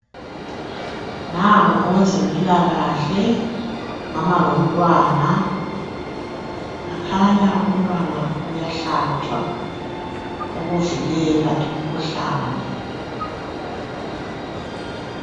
Nangu owezempilakahle wama lomntwana. Kukhanya umntwana uyahlatshwa ukuvikela imikhuhlane.